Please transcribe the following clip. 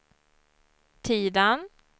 Tidan